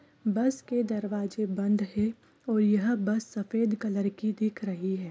बस के दरवाजे बंद हे और यह बस सफेद कलर की दिख रही हे ।